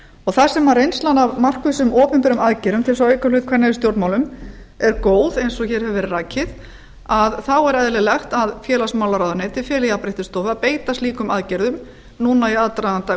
þar sem reynslan af markvissum opinberum aðgerðum til að auka hlut kvenna í stjórnmálum er góð eins og hér hefur verið rakið þá er eðlilegt að félagsmálaráðuneytið feli jafnréttisstofu að beita slíkum aðgerðum núna í aðdraganda